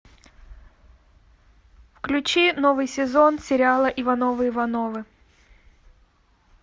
включи новый сезон сериала ивановы ивановы